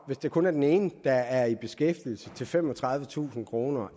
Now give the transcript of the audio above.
hvis det kun er den ene der er i beskæftigelse til femogtredivetusind kroner